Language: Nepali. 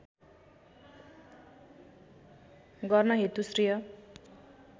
गर्न हेतु श्रेय